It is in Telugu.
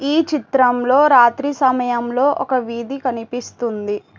ఈ చిత్రంలో రాత్రి సమయం లో ఒక వీధి కనిపిస్తుంది.